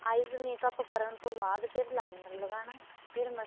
eyes makeup ਕਰਨ ਤੋਂ ਬਾਅਦ ਫ਼ੇਰ liner ਲਗਾਣਾ ਫ਼ੇਰ